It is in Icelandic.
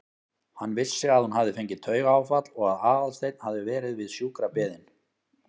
Hann vissi að hún hafði fengið taugaáfall og að Aðalsteinn hafði verið við sjúkrabeðinn.